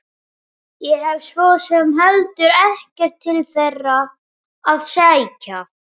Ég hef svo sem heldur ekkert til þeirra að sækja.